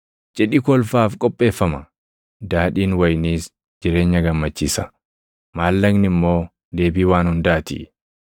Cidhi kolfaaf qopheeffama; daadhiin wayiniis jireenya gammachiisa; maallaqni immoo deebii waan hundaa ti.